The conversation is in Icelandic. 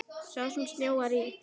Sá sem snjóar í.